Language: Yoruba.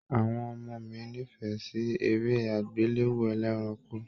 Àwọn ọmọ mí n'ifẹ sí eré agbelewo ẹlẹ́ranko.